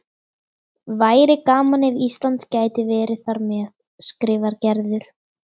Væri gaman ef Ísland gæti verið þar með, skrifar Gerður.